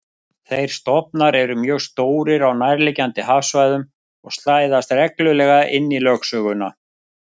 Þeir stofnar eru mjög stórir á nærliggjandi hafsvæðum og slæðast reglulega inn í lögsöguna.